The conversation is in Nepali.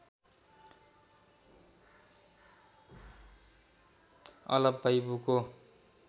अलप भै बुको